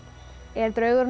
er draugurinn